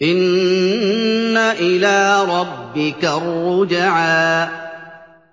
إِنَّ إِلَىٰ رَبِّكَ الرُّجْعَىٰ